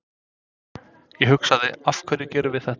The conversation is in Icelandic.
Ég hugsaði, af hverju gerum við þetta?